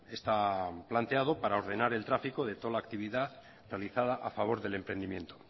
está planteado para ordenar el tráfico de toda la actividad realizada a favor del emprendimiento